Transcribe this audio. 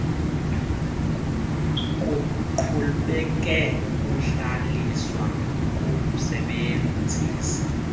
kuqhubeke ukuhlaliswa komsebenzisi